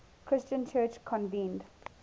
christian church convened